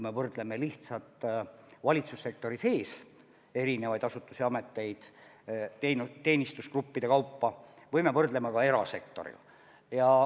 Me võrdleme lihtsalt valitsussektori sees erinevaid asutusi-ameteid teenistusgruppide kaupa ja me võrdleme ka erasektoriga.